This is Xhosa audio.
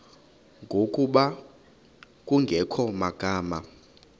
ngokuba kungekho magama